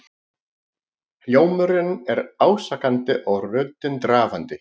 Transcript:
Hljómurinn er ásakandi og röddin drafandi.